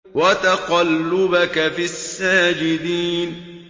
وَتَقَلُّبَكَ فِي السَّاجِدِينَ